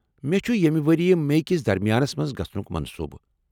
مےٚ چُھ ییٚمہ ؤریہ میی كِس درمِیانس منز گژھنُك منصوٗبہٕ ۔